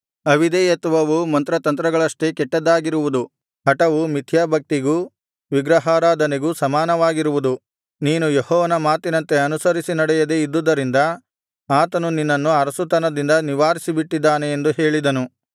ಅವಿಧೇಯತ್ವವು ಮಂತ್ರತಂತ್ರಗಳಷ್ಟೇ ಕೆಟ್ಟದ್ದಾಗಿರುವುದು ಹಟವು ಮಿಥ್ಯಾಭಕ್ತಿಗೂ ವಿಗ್ರಹಾರಾಧನೆಗೂ ಸಮಾನವಾಗಿರುವುದು ನೀನು ಯೆಹೋವನ ಮಾತಿನಂತೆ ಅನುಸರಿಸಿ ನಡೆಯದೆ ಇದ್ದುದರಿಂದ ಆತನು ನಿನ್ನನ್ನು ಅರಸುತನದಿಂದ ನಿವಾರಿಸಿಬಿಟ್ಟಿದ್ದಾನೆ ಎಂದು ಹೇಳಿದನು